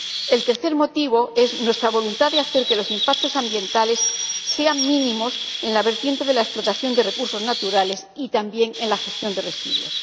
El tercer motivo es nuestra voluntad de hacer que los impactos ambientales sean mínimos en la vertiente de la explotación de recursos naturales y, también, en la gestión de residuos.